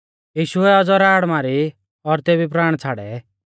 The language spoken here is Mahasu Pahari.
यीशुऐ औज़ौ राड़ मारी और तेबी प्राण छ़ाड़ै